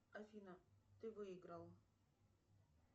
афина ты выиграл